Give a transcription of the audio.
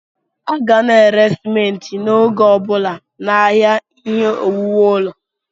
A ga na-ere simenti n'oge ọbụla n'ahịa ihe owuwu ụlọ.